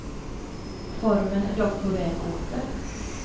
Formen är dock på väg åter.